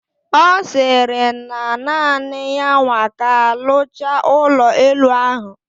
Osiri na naani ya nwa ka alucha ulo elu ahu?